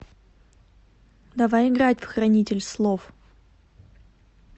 давай играть в хранитель слов